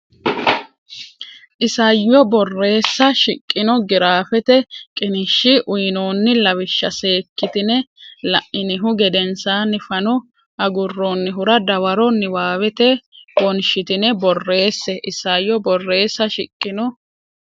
Isayyo Borreessa shiqino giraafete qiniishshi uynoonni lawishsha seekkitine la inihu gedensaanni fano agurroonnihura dawaro niwaawete wonshitine borreesse Isayyo Borreessa shiqino.